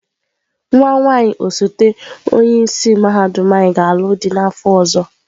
Nwa nwaanyị osote onye isi mahadum anyị ga-alụ dị n'afọ ọzọ.